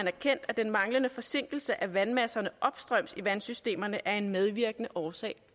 erkendt at den manglende forsinkelse af vandmasserne opstrøms i vandsystemerne er en medvirkende årsag